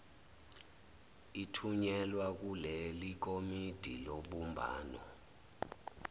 ithunyelwa kulelikomiti lobumbano